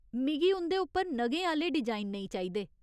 मिगी उं'दे उप्पर नगें आह्‌ले डिजाइन नेईं चाहिदे।